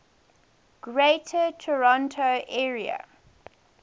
greater toronto area